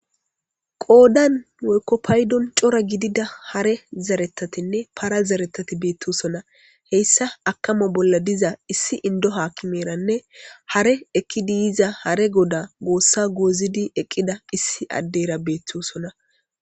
qoodan woykko paydon cora gidida hare zeretatinne para zeretati beettosona heyssa akamo bolla diza issi indo haakimeeranne hare ekki diyiza hare goda goossa goozidi eqqida issi addeyra beettosona